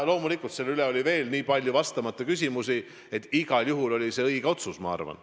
Loomulikult selles loos on veel nii palju vastamata küsimusi, aga see oli igal juhul õige otsus, ma arvan.